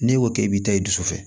N'e ko k'e bɛ taa i dusu fɛ